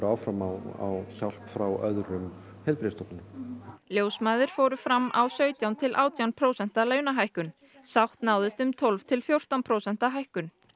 áfram á hjálp frá öðrum heilbrigðisstofnununum ljósmæður fóru fram á sautján til átján prósenta launahækkun sátt náðist um tólf til fjórtán prósenta hækkun